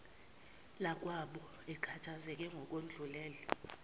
lwakwabo akhathazeke ngokwedlulele